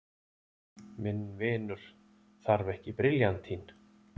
Minn vinur þarf ekki briljantín.